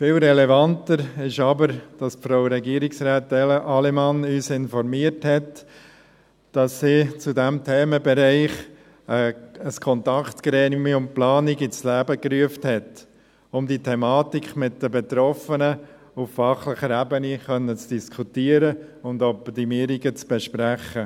Viel relevanter ist aber, dass Frau Regierungsrätin Allemann uns informiert hat, dass sie zu diesem Themenbereich ein Kontaktgremium Planung ins Leben gerufen hat, um die Thematik mit den Betroffenen auf fachlicher Ebene zu diskutieren und Optimierungen zu besprechen.